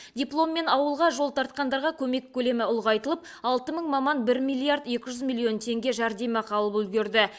дипломмен ауылға жол тартқандарға көмек көлемі ұлғайтылып алты мың маман бір миллиард екі жүз миллион теңге жәрдемақы алып үлгерді